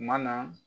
Kuma na